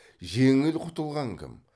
жеңіл құтылған кім